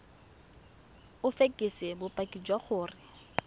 o fekese bopaki jwa gore